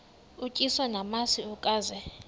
utyiswa namasi ukaze